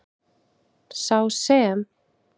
Sá sem.